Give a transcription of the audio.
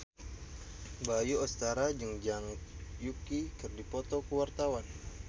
Bayu Octara jeung Zhang Yuqi keur dipoto ku wartawan